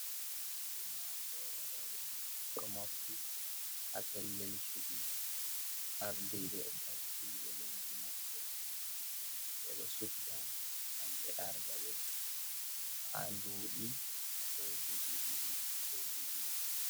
Ummatore robe do mofti ha pellel cubi, ardibe leddi maɓɓe be do subta gam be arda be ha duɓi 2 ko dubi 4.